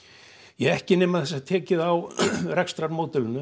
ja ekki nema það sé tekið á